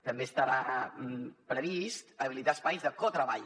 també estarà previst habilitar espais de cotreball